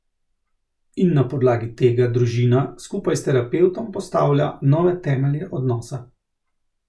In na podlagi tega družina skupaj s terapevtom postavlja nove temelje odnosa.